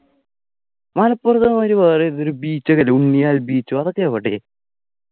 മലപ്പുറത്തെ മാതിരി വേറെ ഏതോ ഒരു beach ഒക്കെ ഇല്ലേ ഉണ്ണിയാൽ beach ഒ അതൊക്കെ എവിടെ